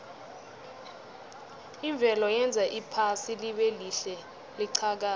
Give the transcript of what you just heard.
imvelo yenza iphasi libelihle liqhakaze